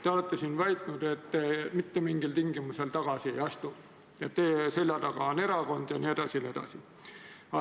Te olete siin väitnud, et te mitte mingil tingimusel tagasi ei astu, et teie selja taga on erakond jne.